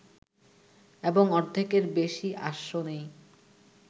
এবং অর্ধেকের বেশি আসনেই